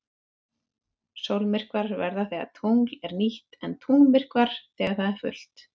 Sólmyrkvar verða þegar tungl er nýtt en tunglmyrkvar þegar það er fullt.